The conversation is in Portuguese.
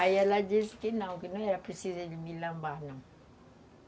Aí ela disse que não, que não era preciso ele me lambar, não.